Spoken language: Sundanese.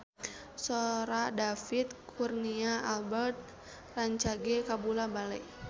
Sora David Kurnia Albert rancage kabula-bale